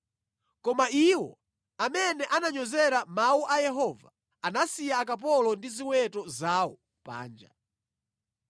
Koma iwo amene ananyozera mawu a Yehova anasiya akapolo ndi ziweto zawo panja.